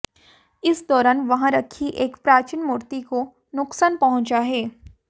इस दौरान वहां रखी एक प्राचीन मूर्ति को नुकसान पहुंचा है